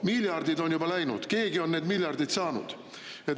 Miljardid on juba läinud, keegi on need miljardid saanud.